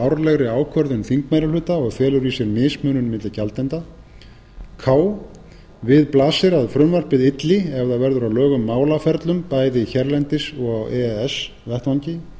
árlegri ákvörðun þingmeirihluta og felur í sér mismunun milli gjaldenda k við blasir að frumvarpið ylli ef það verður að lögum málaferlum bæði hérlendis og á e e s vettvangi